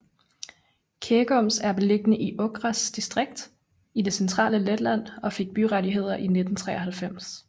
Ķegums er beliggende i Ogres distrikt i det centrale Letland og fik byrettigheder i 1993